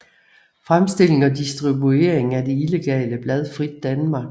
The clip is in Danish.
Fremstilling og distribuering af det illegale blad Frit Danmark